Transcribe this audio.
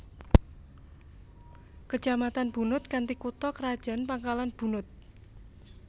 Kecamatan Bunut kanthi kutha krajan Pangkalan Bunut